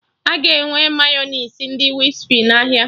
Aga enwe Mayọnais ndị Whippy n'ahịa